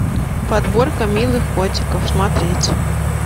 подборка милых котиков смотреть